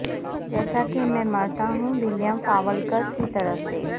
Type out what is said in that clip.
جیسا کہ میں مرتا ہوں ولیم فاولکرر کی طرف سے